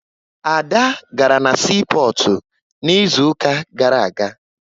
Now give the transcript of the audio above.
Ada gara na siipọọtụ n'izuụka gara aga